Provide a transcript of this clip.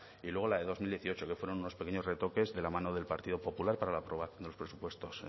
y luego la de dos mil dieciocho que fueron unos pequeños retoques de la mano del partido popular para la aprobación de los presupuestos